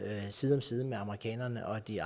side om side med amerikanerne og de